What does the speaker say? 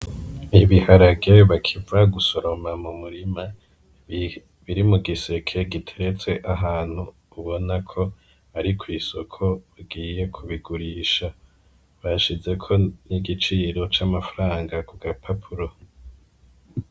Ibiharage bakiva gusoroma mu murima biri mu giseke giteretse ahantu ubona ko ari ku isoko bigiye kubigurisha bashizeko n'igiciro c'amafaranga ku gapapuro.